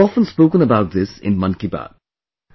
I have often spoken about this in 'Mann Ki Baat'